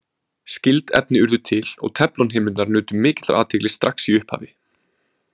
Skyld efni urðu til og teflonhimnurnar nutu mikillar athygli strax í upphafi.